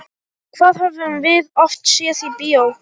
Það höfum við oft séð í bíó.